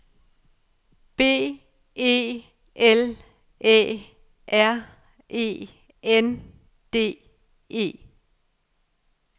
B E L Æ R E N D E